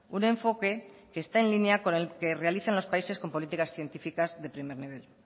un enfoque que está en línea con el que realizan los países con políticas científicas de primer nivel